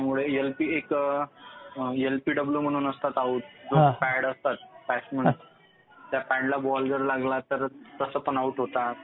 एक एलबीड्ब्लु म्हणून असतात आउट. पायावर पॅड असतात बॅट्समन च्या त्या पॅडला बॉल जर लागला तर तसं पण आउट होतात.